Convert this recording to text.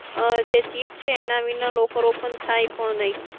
જે chip છે એના વગર locker open થાય નહિ